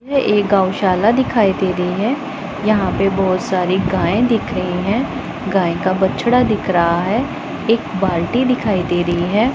ये एक गौशाला दिखाई दे रही है यहाँ पे बहोत सारे गाय दिख रही है गाय का बछडा दिख रहा है एक बाल्टी दिखई दे रही है।